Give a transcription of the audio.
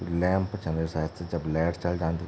लैंप छन वे सायद से जब लाइट चल जान्दि।